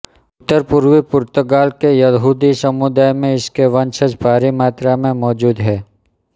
उत्तरपूर्वी पुर्तगाल के यहूदी समुदाय में इसके वंशज भारी मात्रा में मौजूद हैं